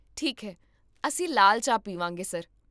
ਠੀਕ ਹੈ, ਅਸੀਂ ਲਾਲ ਚਾਹ ਪੀਵਾਂਗੇ, ਸਰ